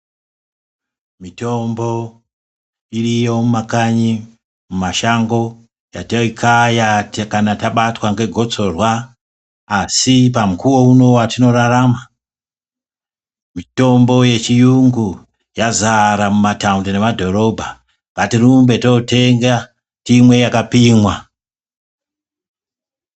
Mitombo iriyo mumakanyi mumashango yataikaya kana tabatwa ngegosorwa asi pamukuwo uno watinorarama mitombo yechiyungu yazara mumataundi nemumadhorobha. Ngatirumbe totenga timwe yakapimwa.